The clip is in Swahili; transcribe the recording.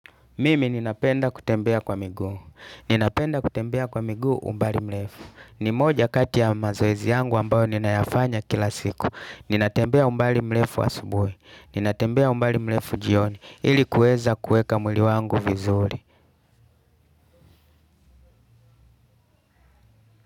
Mimi ninapenda kutembea kwa miguu. Ninapenda kutembea kwa migu umbali mlefu. Ni moja kati ya mazoezi yangu ambayo nina yafanya kila siku. Nina tembea umbali mrefu asubuhi ninatembea umbali mrefu jioni. Ili kuweza kueka mwili wangu vizuri.